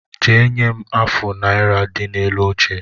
Jee nye m afụ naira dị n’elu oche